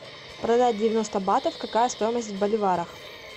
продать девяносто батов какая стоимость в боливарах